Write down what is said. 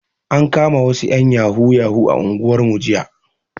An kama wasu ƴan yahoo yahoo a unguwarmu jiya